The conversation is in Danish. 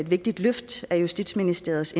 vigtigt løft af justitsministeriets